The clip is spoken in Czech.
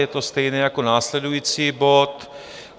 Je to stejné jako následující bod.